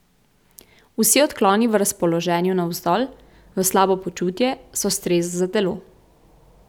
Vsi odkloni v razpoloženju navzdol, v slabo počutje, so stres za telo.